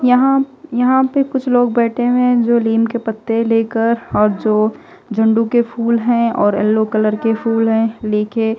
यहां यहां पे कुछ लोग बैठे हुए हैं जो नीम के पत्ते लेकर और जो झंडू के फूल हैं और येलो कलर के फूल हैं लेके--